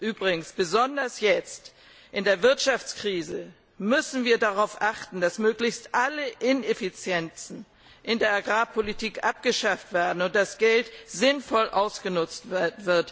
Übrigens besonders jetzt in der Wirtschaftskrise müssen wir darauf achten, dass möglichst alle Ineffizienzen in der Agrarpolitik abgeschafft werden und das Geld sinnvoll genutzt wird